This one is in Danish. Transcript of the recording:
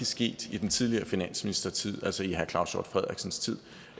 sket i den tidligere finansministers tid altså i herre claus hjort frederiksens tid